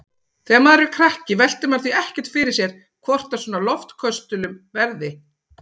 Þegar maður er krakki veltir maður því ekkert fyrir sér hvort af svona loftköstulum verði.